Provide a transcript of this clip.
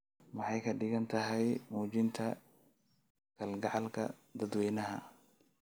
Maxay ka dhigan tahay muujinta kalgacalka dadweynaha?